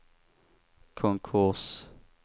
konkurs